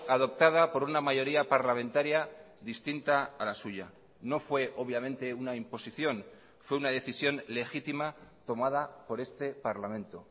adoptada por una mayoría parlamentaria distinta a la suya no fue obviamente una imposición fue una decisión legítima tomada por este parlamento